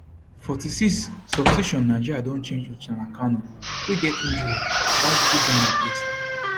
46 substitution nigeria don change uchenna kanu wey get injury babajide don replace her